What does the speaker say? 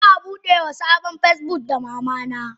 Za a budewa sabon asusun Facebook wa mamana.